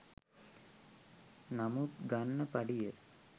නමුත් ගන්න පඩිය